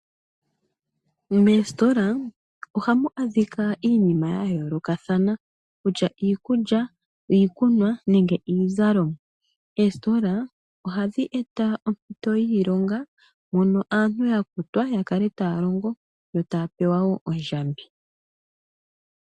Moositola ohamu adhika iinima yayoolokathana, kutya iikulya, iikunwa nenge iizalomwa. Oositola ohadhi eta ompito yiilonga mono aantu yakutwa yakale taya longo yo taya pewawo ondjambi.